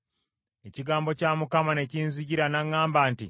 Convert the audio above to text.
Ekigambo kya Mukama ne kinzijira, n’aŋŋamba nti,